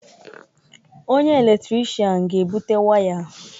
Onye eletrishian ga-ebute waya.